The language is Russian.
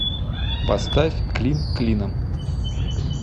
поставь клин клином